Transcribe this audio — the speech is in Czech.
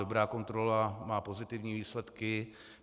Dobrá kontrola má pozitivní výsledky.